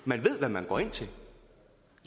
man ved hvad man går ind til